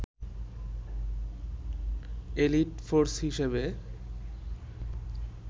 elite force হিসেবে